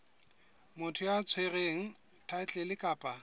motho ya tshwereng thaetlele kapa